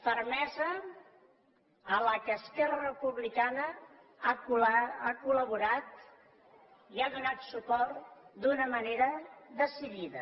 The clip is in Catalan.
fermesa a la qual esquerra republicana ha col·la borat i ha donat suport d’una manera decidida